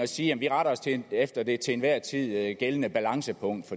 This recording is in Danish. siger at efter det til enhver tid gældende balancepunkt